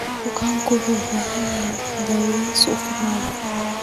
Bukaanku waxay u baahan yihiin daaweyn si ay u fiicnaadaan.